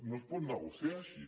no es pot negociar així